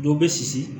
Dɔ bɛ sisi